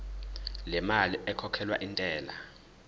lemali ekhokhelwa intela